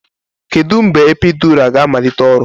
Kedu mgbe epiidura ga-amalite ọrụ?